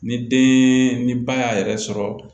Ni den ni ba y'a yɛrɛ sɔrɔ